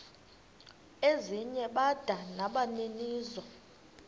ezinye bada nabaninizo